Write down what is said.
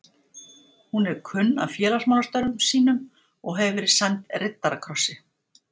Hún er kunn af félagsmálastörfum sínum og hefur verið sæmd riddarakrossi